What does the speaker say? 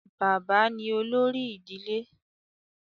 bàbá ni olórí ìdílé